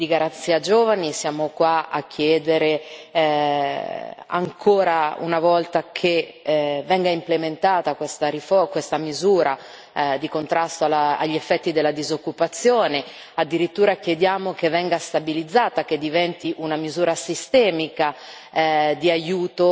Siamo ancora qua a parlare di Garanzia giovani, siamo qua a chiedere ancora una volta che venga implementata questa misura di contrasto alla gli effetti della disoccupazione addirittura chiediamo che venga stabilizzata e che diventi una misura sistemica